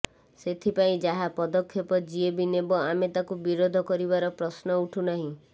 ସେଥିପାଇଁ ଯାହା ପଦକ୍ଷେପ ଯିଏ ବି ନେବ ଆମେ ତାକୁ ବିରୋଧ କରିବାର ପ୍ରଶ୍ନ ଉଠୁନାହିଁ